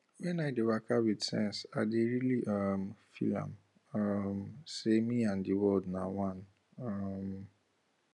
wen i dey waka with sense i dey really um feel am um say me and the the world na one um